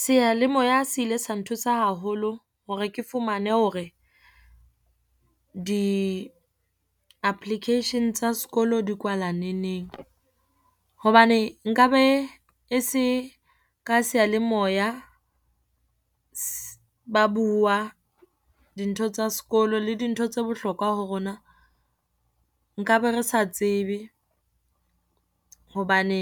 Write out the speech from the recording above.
Seyalemoya se ile sa nthusa haholo hore ke fumane hore, di-application tsa sekolo di kwala neneng. Hobane nkabe e se ka seyalemoya, ba bua dintho tsa sekolo le dintho tse bohlokwa ho rona. Nkabe re sa tsebe hobane